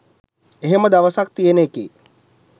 එහෙම දවසක් තියෙන එකේ